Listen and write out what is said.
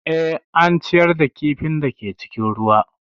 Eh, an ciyar da kifin da ke cikin ruwan